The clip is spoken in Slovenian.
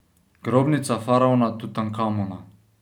Grobnica faraona Tutankamona.